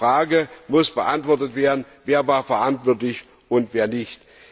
Die Frage muss beantwortet werden Wer war verantwortlich und wer nicht?